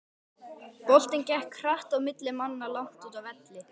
Boltinn gekk hratt á milli manna langt úti á velli.